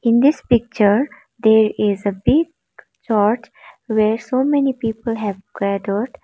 in this picture there is a big church where so many people have gathered.